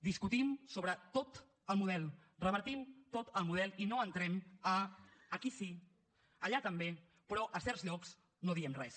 discutim sobre tot el model revertim tot el model i no entrem a aquí sí allà també però a certs llocs no diem res